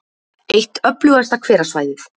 Eitt öflugasta hverasvæðið